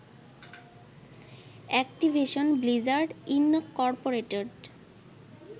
Activision Blizzard Incorporated